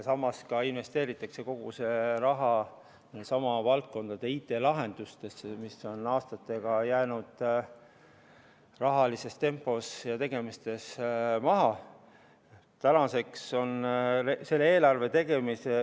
Samas investeeritakse kogu see raha samade valdkondade IT-lahendustesse, mis on aastatega jäänud rahalises tempos ja tegemistes maha.